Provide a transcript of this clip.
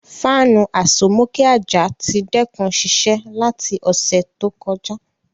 Fanu asomoke aja ti dẹkun siṣẹ lati ọsẹ to kọja.